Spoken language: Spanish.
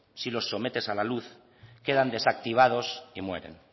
si los sometes a la luz quedan desactivados y mueren